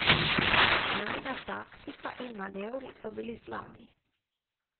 Najina taktika in manevri so bili slabi.